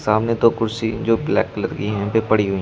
सामने दो कुर्सी जो ब्लैक कलर की हैं यहां पे पड़ी हुई--